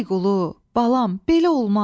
Ay qulu, balam, belə olmaz,